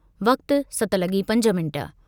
वक़्तु सत लॻी पंज मिंट